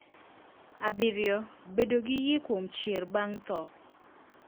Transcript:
Abiriyo, Bedo gi yie kuom chier bang' tho.